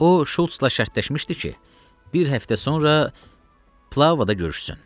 O Şulc-la şərtləşmişdi ki, bir həftə sonra plavada görüşsün.